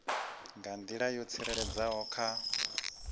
nga nḓila yo tsireledzeaho kha